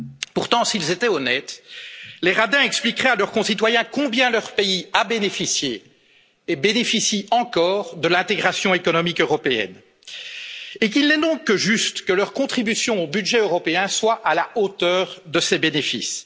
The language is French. Pourtant, s'ils étaient honnêtes, les radins expliqueraient à leurs concitoyens combien leur pays a bénéficié et bénéficie encore de l'intégration économique européenne, et qu'il est donc juste que leur contribution au budget européen soit à la hauteur de ces bénéfices.